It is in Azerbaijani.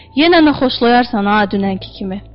Yenə nə xoşlayarsan ha dünənki kimi.